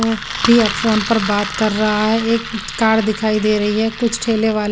B F phone पर बात कर रहा है एक उत्कार दिखाई दे रही है कुछ ठेले वाले--